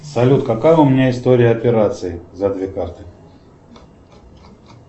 салют какая у меня история операций за две карты